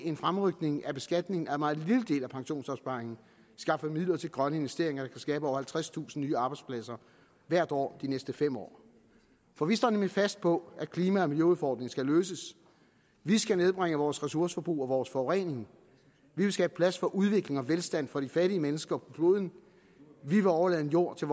en fremrykning af beskatningen af en meget lille del af pensionsopsparingen skaffer vi midler til grønne investeringer der kan skabe over halvtredstusind nye arbejdspladser hvert år de næste fem år for vi står nemlig fast på at klima og miljøudfordringen skal løses vi skal nedbringe vores ressourceforbrug og vores forurening vi vil skabe plads for udvikling og velstand for de fattige mennesker på kloden vi vil overlade en jord til